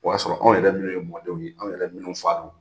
O y'a sɔrɔ anw yɛrɛ minnu ye mɔdenw ye , anw yɛrɛ minnu f'a ma.